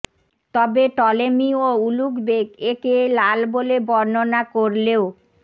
তবে টলেমী ও Ulugh Beg একে লাল বলে বর্ণনা করলেও